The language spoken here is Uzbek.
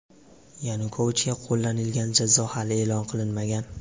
Yanukovichga qo‘llanilgan jazo hali e’lon qilinmagan.